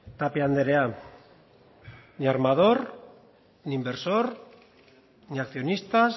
tapia andrea ni armador ni inversor ni accionistas